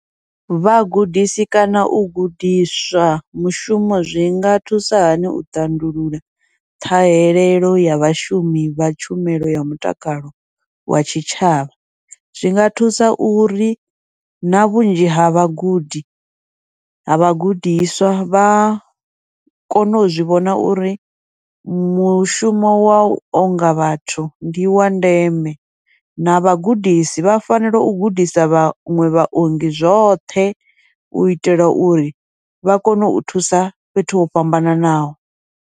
Vhagudisi kana u gudiswa mushumo zwi nga thusa hani u tandulula ṱhahelelo ya vhashumi vha tshumelo ya mutakalo wa tshitshavha, zwinga thusa uri na vhunzhi ha vhagudi, ha vhagudiswa vha kone u zwi vhona uri mushumo wau onga vhathu ndi wa ndeme, na vhagudisi vha fanela u gudisa vhaṅwe vhaongi zwoṱhe u itela uri vha kone u thusa fhethu ho fhambananaho.